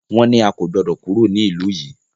Wọ́n ní a kò gbọdọ̀ kúrò ní ìlú yìí!